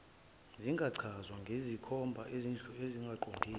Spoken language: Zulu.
zingachazwa ngezinkomba ezingaqondile